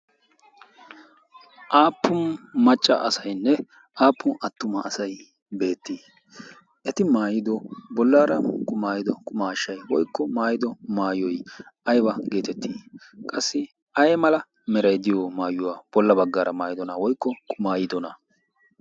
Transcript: Aappun machcha asaynne aappun attuma asay beettii? Eti maayido bollaara qumaayido qumaashshay woykko maayido maayoy ayba geetettii? Qassi ay mala meray de'iyo maayuwaa bolla baggaara maayydona woykko qumaayidona?